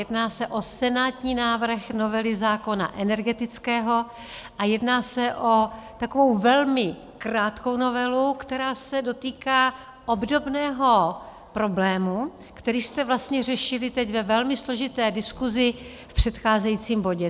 Jedná se o senátní návrh novely zákona energetického a jedná se o takovou velmi krátkou novelu, která se dotýká obdobného problému, který jste vlastně řešili teď ve velmi složité diskuzi v předcházejícím bodě.